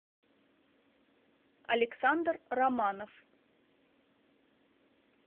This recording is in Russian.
александр романов